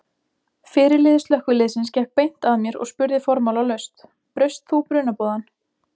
Fyrirliði slökkviliðsins gekk beint að mér og spurði formálalaust: Braust þú brunaboðann?